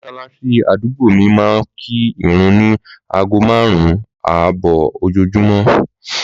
Mọ̀sàlàsí àdúgbò mí máa ń kí ìrun ní aago márùn-ún àbò ojoojúmọ́